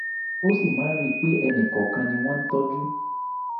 ó sì máa ń rí i pé ẹnì kọ̀ọ̀kan ni wọ́n ń tọ́jú